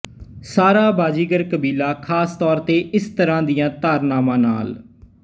ਸਾਰਾ ਬਾਜ਼ੀਗਰ ਕਬੀਲਾ ਖ਼ਾਸ ਤੌਰ ਤੇ ਇਸ ਤਰ੍ਹਾਂ ਦੀਆਂ ਧਾਰਨਾਵਾਂ ਨਾਲ